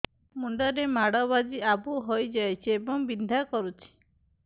ମୁଣ୍ଡ ରେ ମାଡ ବାଜି ଆବୁ ହଇଯାଇଛି ଏବଂ ବିନ୍ଧା କରୁଛି